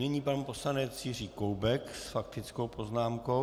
Nyní pan poslanec Jiří Koubek s faktickou poznámkou.